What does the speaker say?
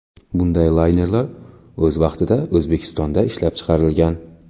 Bunday laynerlar o‘z vaqtida O‘zbekistonda ishlab chiqarilgan.